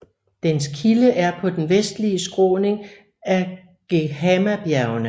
Dens kilde er på den vestlige skråning af Geghamabjergene